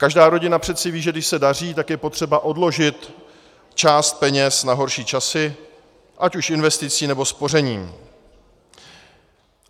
Každá rodina přece ví, že když se daří, tak je potřeba odložit část peněz na horší časy, ať už investicí, nebo spořením.